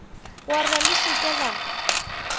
warra le se ke la